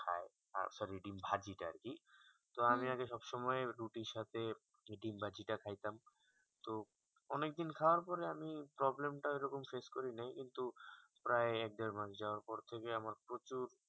sorry ডিম্ ভাজি তা আরকি তো আমি আগে সব সময় রুটির সাথে দিম ভাজি তা খাইতাম তো অনেক দিন খাওয়ার পরে আমি problem তা এরকম face করি নেই কিন্তু প্রায় দেড় মাস যাওয়ার পর থেকে আমার প্রচুর